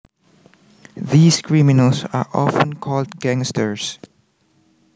These criminals are often called gangsters